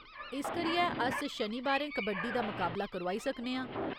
इस करियै, अस शनिबारें कबड्डी दा मकाबला करोआई सकने आं।